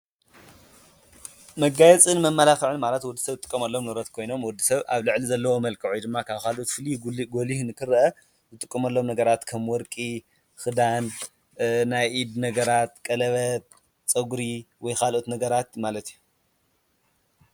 መጋየፅን መመላክዕን መጋየፂ ማለት ሰባት ካብ ተፈጥሮአዊ መልክዖም ተወሳኺ ፅባቀ ዝፈጥሩ ሰብ ሰራሕ ነገራት እዮም። ኣብነት ወርቂ መመላክዒ ከዓ ኣብ ቆርበትና ዝቅብኡ ከም ኩሕሊ ዝኣመስሉ ነገራት እዮም።